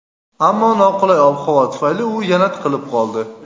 ammo noqulay ob-havo tufayli u yana tiqilib qoldi.